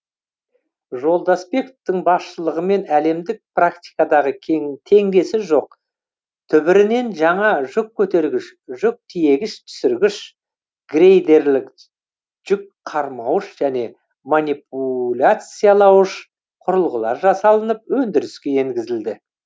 жолдасбековтің басшылығымен әлемдік практикадағы теңдесі жоқ түбірінен жаңа жүк көтергіш жүк тиегіш түсіргіш грейдерлік жүк қармауыш және манипуляциялауыш құрылғылар жасалынып өндіріске енгізілді